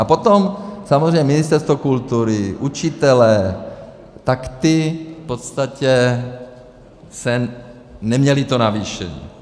A potom samozřejmě Ministerstvo kultury, učitelé, tak ti v podstatě neměli to navýšení.